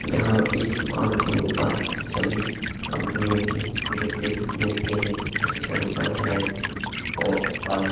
यहाँ इस दुकान के ऊपर सभी कंपनियों के जूते मिलते हैं जैसे कैंपस रेड चीफ और आदि।